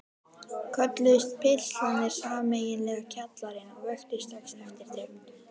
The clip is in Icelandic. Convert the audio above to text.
Kölluðust pistlarnir sameiginlega Kjallarinn og vöktu strax eftirtekt.